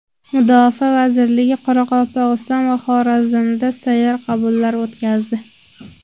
Mudofaa vazirligi Qoraqalpog‘iston va Xorazmda sayyor qabullar o‘tkazdi.